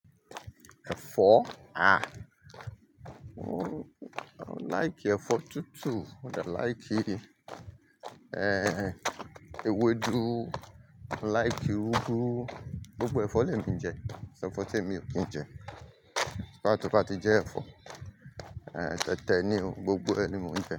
Ẹ̀fọ́? Ah! Mò n like ẹ̀fọ́ tútù. Mo de like tutu. Eh, ewédú, mo like úgú. Gbogbo ẹ̀fọ́ lẹ mi jẹ, ko sẹ̀fọ́ tí èmi ò kí jẹ. So far tó bà tí jẹ ẹ̀fọ́, eh, tẹ́tẹ́ ní o. Gbogbo ẹni mo jẹ.